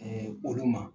olu ma